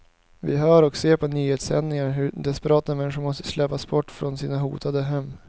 Vi hör och ser på nyhetssändningarna hur desperata människor måste släpas bort från sina hotade hem.